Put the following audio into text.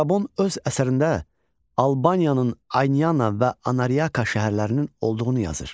Strabon öz əsərində Albaniyanın Ayniana və Anariaka şəhərlərinin olduğunu yazır.